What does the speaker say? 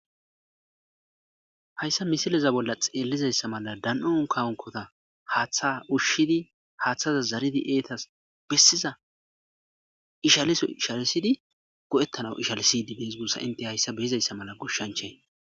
Hayssa missilezan xellizayisa mala dan'o unkka unkota haththa ushshidi haththa zaridi eetas besizza eshalisso eshalisidi go'etanaw eshalisidi deesi ente hayssa be'izayelisa mala goshshanchay.